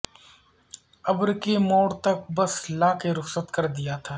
ابر کے موڑ تک بس لا کے رخصت کر دیا تھا